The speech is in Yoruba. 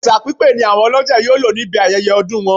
Ẹ̀ṣà pípé ni àwọn olọ́jẹ̀ yóò lò níbi ayẹyẹ ọdún wọn